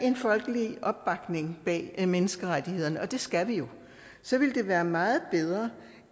en folkelig opbakning bag menneskerettighederne og det skal vi jo så vil det være meget bedre